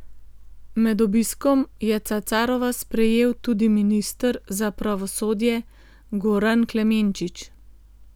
Med obiskom je Cacarova sprejel tudi minister za pravosodje Goran Klemenčič.